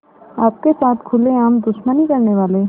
आपके साथ खुलेआम दुश्मनी करने वाले